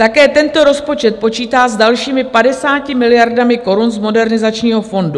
Také tento rozpočet počítá s dalšími 50 miliardami korun z Modernizačního fondu.